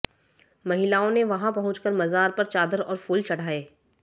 महिलाओं ने वहां पहुंचकर मजार पर चादर और फूल चढ़ाये